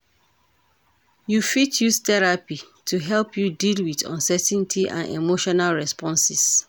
You fit use therapy to help you deal with uncertainty and emotional responses.